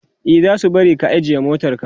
e zasu bari ka ajiye motarka